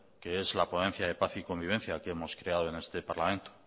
que es la ponencia de paz y convivencia que hemos creado en este parlamento